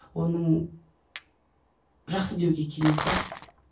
оның жақсы деуге келмейді